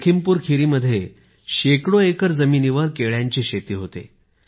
लखीमपुरखीरी मध्ये शेकडो एकर जमिनीवर केळ्याची शेती होते